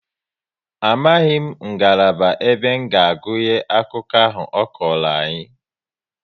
Amaghị ngalaba ebe nga agụnye akụkọ ahụ ọ kọrọ anyị